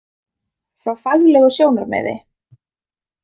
Frá faglegu sjónarmiði?